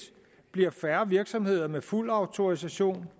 bliver færre virksomheder med fuld autorisation